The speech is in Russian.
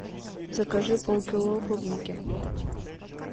закажи полкило клубники